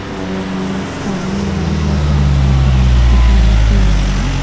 और सामने और भी बहुत सारे आदमी खड़े हो सकते हैं इंटरव्यू के लिए आए हो।